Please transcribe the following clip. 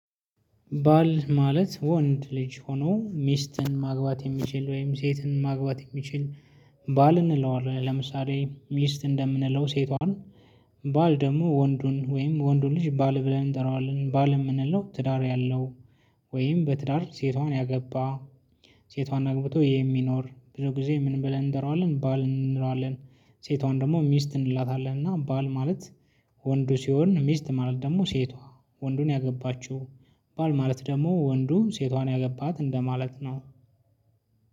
ባል ማለት ወንድ ልጅ ሆኖ ሚስትን ማግባት የሚችል ወይም ሴትን ማግባት የሚችል ባል እንለዋለን ለምሳሌ ሚስት እንደምንለው ሴቷን ባል ደግሞ ወንዱን ወይም ወንዱን ልጅ ባል ብለን እንጠራዋለን ባል የምንለው ትዳር ያለው ወይም በትዳር ሴቷን ያገባ ሴቷን አግብቶ የሚኖር ብዙ ጊዜ ምን ብለን እንጠራዋለን ባል እንለዋለን። ሴቷን ደግሞ ሚስት እንላታለን። እና ባል ማለት። ወንዱ ሲሆን ሚስት ማለት ደግሞ ሴቷ ወንዱን ያገባችው። ባል ማለት ደግሞ ወንዱ ሴቷን ያገባት እንደማለት ነው።